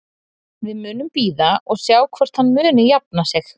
Við munum bíða og sjá hvort hann muni jafna sig.